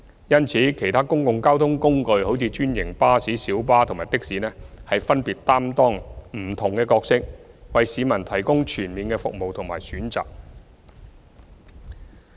因此，其他公共交通工具，例如專營巴士、小巴及的士分別擔當不同的角色，為市民提供全面的服務和選擇。